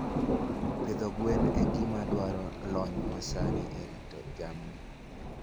Pidho gwen en gima dwaro lony masani e rito jamni.